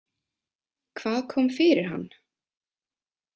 Hvað kom fyrir hann?